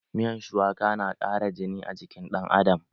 Miyan shuwaka na ƙara jini a jikin dan Adam.